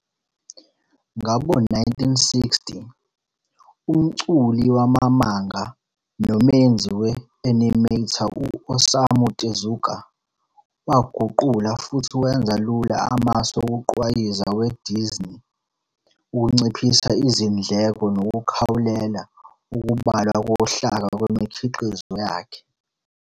Ngawo-1960, umculi wama-manga nomenzi we-animator u- Osamu Tezuka waguqula futhi wenza lula amasu wokugqwayiza weDisney ukunciphisa izindleko nokukhawulela ukubalwa kohlaka kwimikhiqizo yakhe.